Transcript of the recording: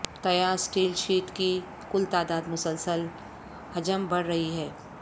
تیار steel sheet کی کل تعداد مسلسل حجم بڑھ رہی ہے